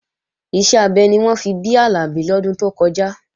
Iṣẹ́ abẹ ni wọ́n fi bí Àlàbí lọ́dún tó kọjá